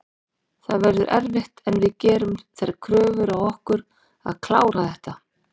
Það verður erfitt en við gerum þær kröfur á okkur að klára þetta.